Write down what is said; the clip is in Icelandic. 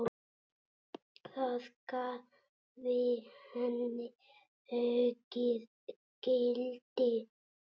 Það gæfi henni aukið gildi.